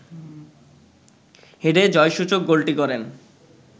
হেডে জয়সূচক গোলটি করেন